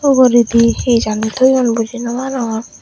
uguridi hi janni toyon buji nw arongor.